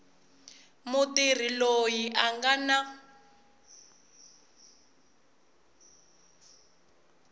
mutirhi loyi a nga na